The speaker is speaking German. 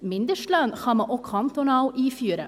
Mindestlöhne kann man auch kantonal einführen.